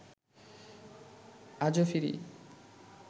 আজো ফিরি